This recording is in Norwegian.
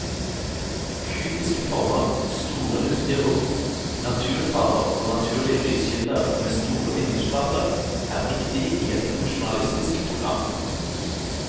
Kubiske former, store, luftige rom, naturfarver og naturlige lyskilder med store vindusflater er viktig i et funksjonalistisk program.